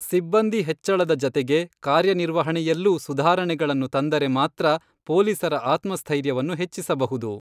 ಸಿಬ್ಬಂದಿ ಹೆಚ್ಚಳದ ಜತೆಗೆ ಕಾರ್ಯ ನಿರ್ವಹಣೆಯಲ್ಲೂ ಸುಧಾರಣೆಗಳನ್ನು ತಂದರೆ, ಮಾತ್ರ ಪೊಲೀಸರ ಆತ್ಮಸ್ಥೈರ್ಯವನ್ನು ಹೆಚ್ಚಿಸಬಹುದು.